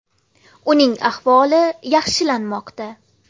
Uning ahvoli yaxshilanmoqda.